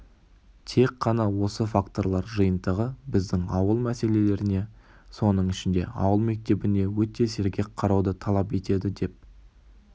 тек қана осы факторлар жинтығы біздің ауыл мәселелеріне соның ішінде ауыл мектебіне өте сергек қарауды талап етеді деп